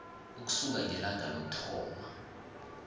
ukusuka ngelanga lokuthoma